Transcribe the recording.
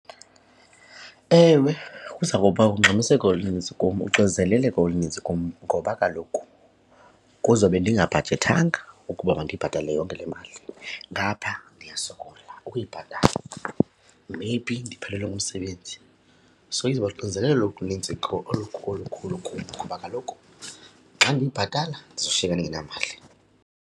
Ewe, kuza kuba ungxamiseko olunintsi kum, uxinzeleleko olunintsi kum ngoba kaloku kuzobe ndingabhajethanga ukuba mandiyibhatalele yonke le mali. Ngapha ndiyasokola ukuyibhatala, maybe ndiphelelwe ngumsebenzi. So izawuba luxinzelelo oluninzi olukhulu kakhulu kum ngoba kaloku xa ndiyibhatala ndizoshiyeka ndingenamali.